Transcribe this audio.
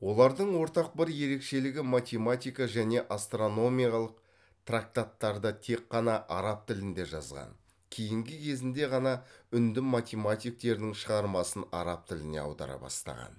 олардың ортақ бір ерекшелігі математика және астрономиялық трактаттарды тек қана араб тілінде жазған кейігі кезінде ғана үнді математиктерінің шығармасын араб тіліне аудара бастаған